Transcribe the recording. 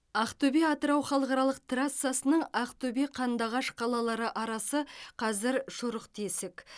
ақтөбе атырау халықаралық трассасының ақтөбе қандыағаш қалалары арасы қазір шұрық тесік